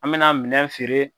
An be na minɛn feere